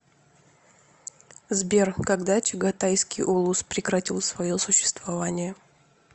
сбер когда чагатайский улус прекратил свое существование